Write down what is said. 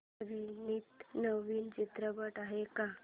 अभिनीत नवीन चित्रपट आहे का